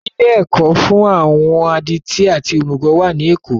Ilé ẹ̀kọ́ fún àwọn adití àti òmùgọ̀ wà ní èkó